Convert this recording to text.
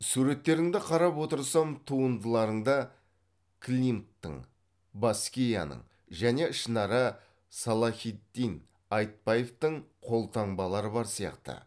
суреттеріңді қарап отырсам туындыларыңда клинттың баскияның және ішінара салахиддин айтбаевтың қолтаңбалары бар сияқты